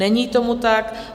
Není tomu tak.